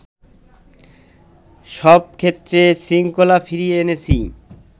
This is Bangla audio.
সবক্ষেত্রে শৃঙ্খলা ফিরিয়ে এনেছি